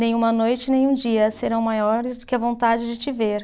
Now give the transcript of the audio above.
Nenhuma noite, nenhum dia serão maiores que a vontade de te ver.